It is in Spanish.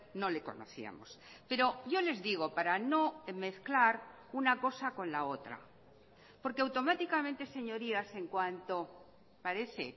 no le conocíamos pero yo les digo para no mezclar una cosa con la otra porque automáticamente señorías en cuanto parece